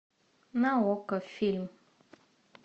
на окко фильм